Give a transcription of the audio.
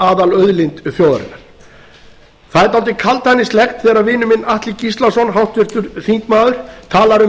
aðalauðlind þjóðarinnar það er dálítið kaldhæðnislegt þegar vinur minn atli gíslason háttvirtur þingmaður talar um